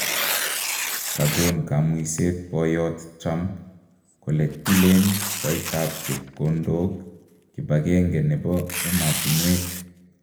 kagon kamuiset poyoot Trump kole tilen koitap chepkondook kipagenge nepo ematunwek